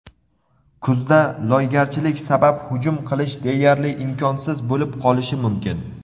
Kuzda loygarchilik sabab hujum qilish deyarli imkonsiz bo‘lib qolishi mumkin.